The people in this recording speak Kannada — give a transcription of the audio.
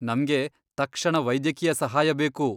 ನಮ್ಗೆ ತಕ್ಷಣ ವೈದ್ಯಕೀಯ ಸಹಾಯ ಬೇಕು.